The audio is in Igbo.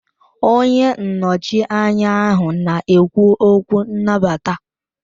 Onye nnọchiteanya ahụ na-ekwu okwu nnabata